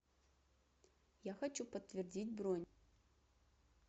я хочу подтвердить бронь